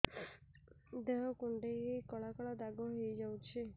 ଦେହ କୁଣ୍ଡେଇ ହେଇ କଳା କଳା ଦାଗ ହେଇଯାଉଛି